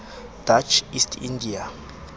dutch east india